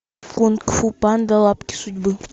кунг фу панда лапки судьбы